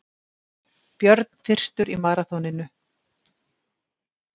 Björn fyrstur í maraþoninu